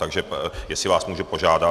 Takže jestli vás můžu požádat.